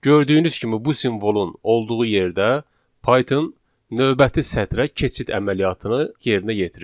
Gördüyünüz kimi bu simvolun olduğu yerdə Python növbəti sətrə keçid əməliyyatını yerinə yetirir.